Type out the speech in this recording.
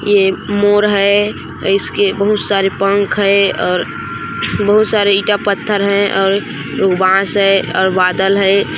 ये मोर है इसके बहुत सारे पंख है और बहुत सारे ईटा पत्थर है और बॉस है और बादल है।